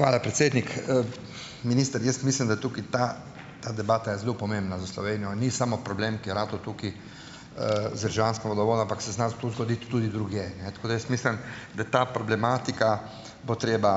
Hvala, predsednik. Minister, jaz mislim, da tukaj ta ta debata je zelo pomembna za Slovenijo. In ni samo problem, ki je ratal tukaj, z vzdrževanjskim vodovodom, ampak se zna tu zgoditi tudi drugje, ne. Tako da jaz mislim, da ta problematika bo treba,